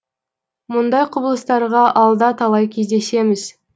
мұндай құбылыстарға алда талай кездесеміз